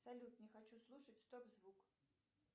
салют не хочу слушать стоп звук